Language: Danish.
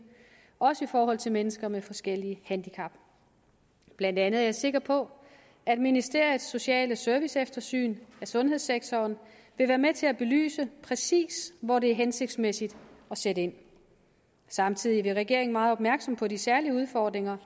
også i forhold til mennesker med forskellige handicap blandt andet er jeg sikker på at ministeriets sociale serviceeftersyn af sundhedssektoren vil være med til at belyse præcis hvor det er hensigtsmæssigt at sætte ind samtidig er regeringen meget opmærksom på de særlige udfordringer